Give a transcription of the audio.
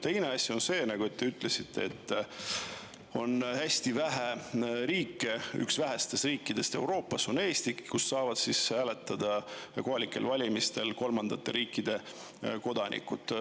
Teine asi on see, et te ütlesite, et Eesti on Euroopas üks vähestest riikidest, kus kohalikel valimistel saavad hääletada kolmandate riikide kodanikud.